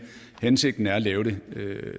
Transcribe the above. hensigten er at lave det